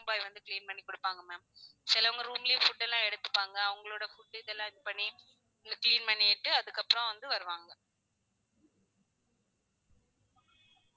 Room boy வந்து clean பண்ணி கொடுப்பாங்க ma'am சிலவுங்க room லேயே food எல்லாம் எடுத்துப்பாங்க அவங்களோட food எல்லாம் இது பண்ணி இங்க clean பண்ணிட்டு அதுக்கு அப்றோ வந்து வருவாங்க